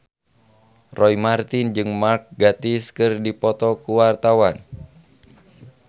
Roy Marten jeung Mark Gatiss keur dipoto ku wartawan